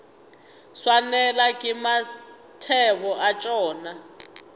swanelwa ke mathebo a tšona